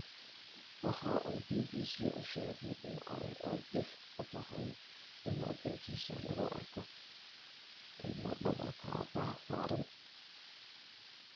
Waxa uu BBC u sheegay in ay aad dhif u tahay in waddankiisa lagu arko ilmo dhabarka aabaha saaran.